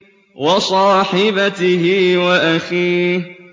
وَصَاحِبَتِهِ وَأَخِيهِ